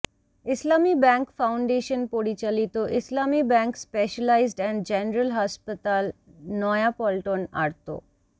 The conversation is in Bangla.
ইসলামী ব্যাংক ফাউন্ডেশন পরিচালিত Islami bank specialised and general হাসপাতাল নয়াপল্টন আর্ত